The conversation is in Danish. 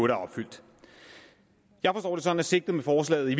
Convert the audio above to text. er opfyldt jeg forstår det sigtet med forslaget i